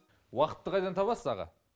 уақытты қайдан табасыз аға